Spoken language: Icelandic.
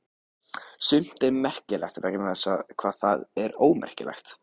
Sumt er svo merkilegt vegna þess hvað það er ómerkilegt.